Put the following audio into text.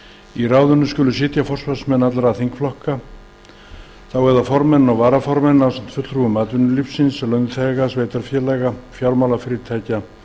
í ráðinu skulu sitja forustumenn allra þingflokka það er formenn og varaformenn ásamt fulltrúum atvinnulífs launþega sveitarfélaga fjármálafyrirtækja